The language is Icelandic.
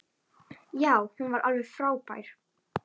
Já, hún var alveg frábær!